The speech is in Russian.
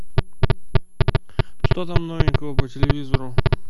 что там новенького по телевизору